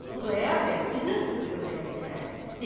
Xudayar bəy üzünü tutub övrətinə dedi.